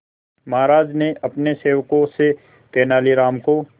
महाराज ने अपने सेवकों से तेनालीराम को